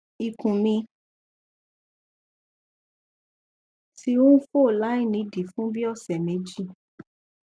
ikun mi ti n fo lainidii fun bii ọsẹ meji